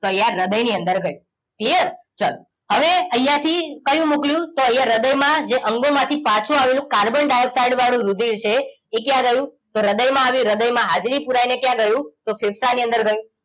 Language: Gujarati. તો આ હ્રદય ની અંદર ગયું ક્લિયર ચલો હવે અહિયાં થીકયું મોક્લીયું અહિયાં હ્રદય માં જે અંગો માંથી પાછુ આવેલું કાર્બન ડાઇઓક્સાઇડ વાળું રુધિર છે એ ક્યાં ગયું હ્રદય માં આય્વું હ્રદય માં હાજરી પુરાઈને ક્યાં ગયું કે ફેફસાની અંદર ગયું